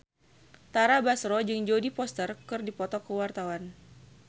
Tara Basro jeung Jodie Foster keur dipoto ku wartawan